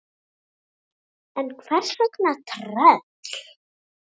En hvers vegna tröll?